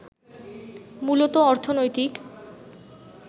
মূলত অর্থনৈতিক